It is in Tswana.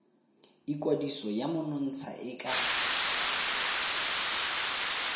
ikwadiso ya monontsha e ka